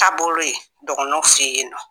Taabolo ye dɔgɔnɔw fɛ yen nɔ